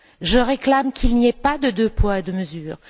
Je réclame qu'il n'y ait pas deux poids, deux mesures.